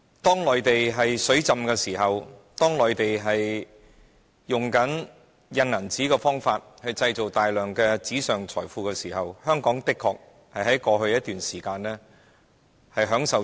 在內地資金充裕，不斷透過印鈔的方式製造大量紙上財富時，香港的確能在過去一段時間從中受惠。